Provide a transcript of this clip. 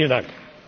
Vielen Dank!